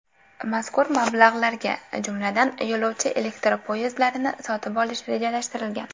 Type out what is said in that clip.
Mazkur mablag‘larga, jumladan, yo‘lovchi elektropoyezdlarini sotib olish rejalashtirilgan.